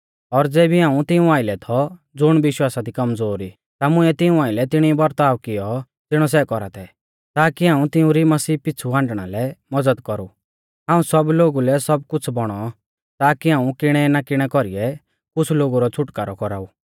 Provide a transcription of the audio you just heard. और ज़ेबी हाऊं तिऊं आइलै थौ ज़ुण विश्वासा दी कमज़ोर ई ता मुइंऐ तिऊं आइलै तिणी बरताव कियौ ज़िणौ सै कौरा थै ताकी हाऊं तिउंरी मसीह पिछ़ु हाण्डणा लै मज़द कौरु हाऊं सब लोगु लै सब कुछ़ बौणौ ताकी हाऊं किणै ना किणै कोरीऐ कुछ़ लोगु रौ छ़ुटकारौ कौराऊ